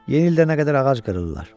Yenidə nə qədər ağac qırırlar.